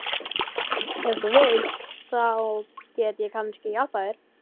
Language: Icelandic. Ef þú vilt. þá get ég kannski hjálpað þér.